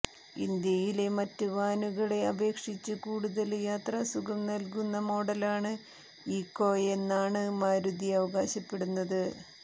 ഇന്ത്യയിലെ മറ്റ് വാനുകളെ അപേക്ഷിച്ച് കൂടുതല് യാത്രാസുഖം നല്കുന്ന മോഡലാണ് ഈക്കോയെന്നാണ് മാരുതി അവകാശപ്പെടുന്നത്